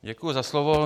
Děkuji za slovo.